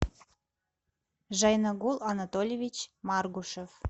жайнагул анатольевич маргушев